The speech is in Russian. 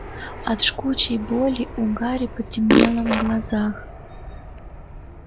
от жгучей боли у гарри потемнело в глазах